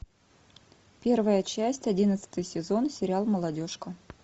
первая часть одиннадцатый сезон сериал молодежка